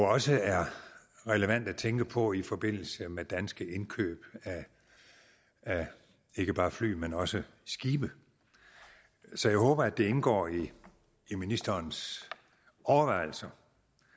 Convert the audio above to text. også er relevant at tænke på i forbindelse med danske indkøb af ikke bare fly men også skibe så jeg håber at det indgår i i ministerens overvejelser